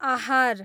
आहार